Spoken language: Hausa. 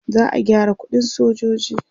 za'a gyara ƙuɗin sojoji